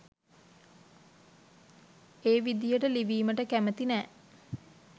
ඒ විදියට ලිවීමට කැමති නෑ.